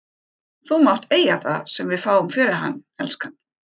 Þú mátt eiga það sem við fáum fyrir hann, elskan.